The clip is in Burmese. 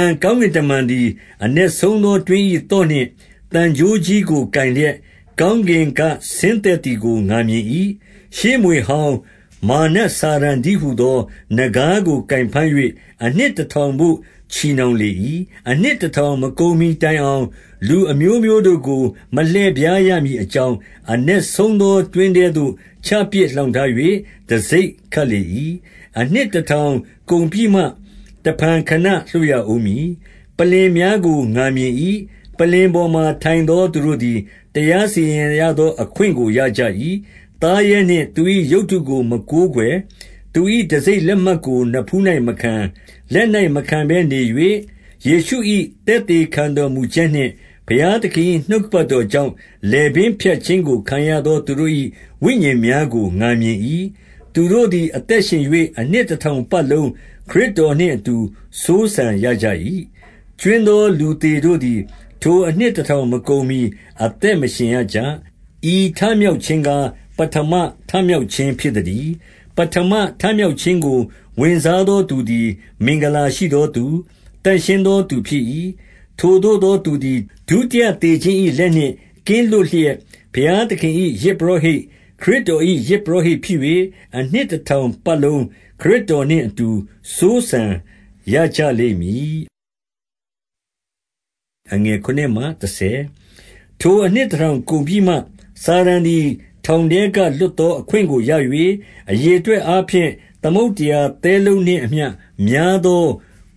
န် ကောင်းကင်တမန်သည် အနက်ဆုံး သောတွင်း၏ သော့ နှင့် သံကြိုးကြီးကိုကိုင်လျက် ကောင်းကင်က ဆင်းသက်သည်ကို ငါမြင်၏။ ရှေးမြွေဟောင်း၊ မာရ်နတ်စာတန်တည်းဟူ သော နဂါးကို ကိုင်ဘမ်း၍၊ အနှစ်တထောင်ဘို့ ချည်နှောင်လေ၏။ အနှစ်တထောင် မကုန်မှီတိုင်အောင်၊ လူအမျိုး မျိုးတို့ကို မလှည့်ဖြားရမည်အကြောင်း၊ အနက်ဆုံးသော တွင်းထဲသို့ ချပစ်လှောင်ထား၍ တံဆိပ်ခတ်လေ၏။ အနှစ်တထောင်ကုန်ပြီးမှ တဖန် ခဏလွှတ်ရဦးမည်။ ပလ္လင်များကိုလည်း ငါမြင်၏။ ပလ္လင်ပေါ်မှာ ထိုင်သော သူတို့သည် တရားစီရင်ရသော အခွင့်ကို ရကြ၏။ သားရဲနှင့် သူ၏ရုပ်တုကို မကိုးကွယ်၊ သူ၏ တံဆိပ်လက်မှတ်ကို နဖူး၌မခံ၊ လက်၌မခံဘဲနေ၍ ယေရှု၏ သက်သေခံတော်မူချက်နှင့် ဘုရားသခင်၏ နှုတ်ကပတ်တော်ကြောင့်၊ လည်ပင်းဖြတ်ခြင်းကို ခံရသော သူတို့၏ ဝိညာဉ်များကို ငါမြင်၏။ သူတို့သည် အသက် ရှင်၍ အနှစ်တထောင်ပတ်လုံး ခရစ်တော်နှင့်အတူ စိုးစံရကြ၏။ ကြွင်းသော လူသေတို့သည် ထိုအနှစ်တထောင် မကုန်မှီ အသက်မရှင်ရကြ။ ဤထမြောက်ခြင်းကား၊ ပဌမမြောက်ခြင်းဖြစ်သတည်း။ ပဌမမြောက်ခြင်းကို ဝင်စားသော သူသည် မင်္ဂလာရှိသောသူ၊ သန့်ရှင်းသောသူ ဖြစ်၏။ ထိုသို့သော သူသည် ဒုတိယသေခြင်း၏ လက်နှင့် ကင်းလွတ်လျက်၊ ဘုရားသခင်၏ ယဇ်ပုရောဟိတ်၊ ခရစ်တော်၏ ယဇ် ပုရောဟိတ်ဖြစ်၍ အနှစ်တထောင်ပတ်လုံး ခရစ်တော် နှင့်အတူ စိုးစံရကြလိမ့်မည်။ ထိုအနှစ်တထောင်ကုန်ပြီးမှ၊ စာတန်သည် ထောင်ထဲက လွှတ်သောအခွင့်ကိုရ၍၊ အရေအတွက်အားဖြင့် သမုဒ္ဒရာသဲလုံးနှင့်အမျှ များသော